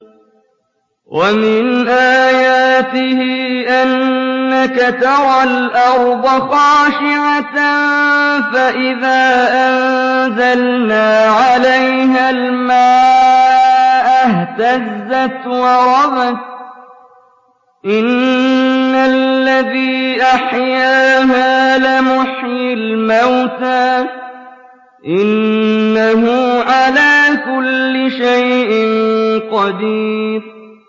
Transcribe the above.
وَمِنْ آيَاتِهِ أَنَّكَ تَرَى الْأَرْضَ خَاشِعَةً فَإِذَا أَنزَلْنَا عَلَيْهَا الْمَاءَ اهْتَزَّتْ وَرَبَتْ ۚ إِنَّ الَّذِي أَحْيَاهَا لَمُحْيِي الْمَوْتَىٰ ۚ إِنَّهُ عَلَىٰ كُلِّ شَيْءٍ قَدِيرٌ